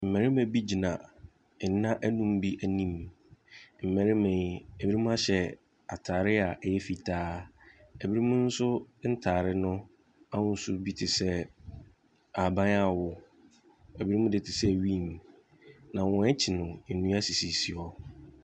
Mmarima bi gyina nna nnum bi anim, mmarima yi, ɛbinom ahyɛ ataade a ɛyɛ fitaa, ɛbi mo nso ntaade no ahosuo bi te sɛ ahaban a awoɔ, ɛbi mo deɛ tesɛ nwii na wɔn akyi no nua sisi hɔ.